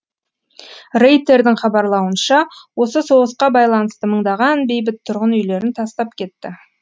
рейтердің хабарлауынша осы соғысқа байланысты мыңдаған бейбіт тұрғын үйлерін тастап кетті